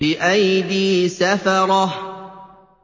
بِأَيْدِي سَفَرَةٍ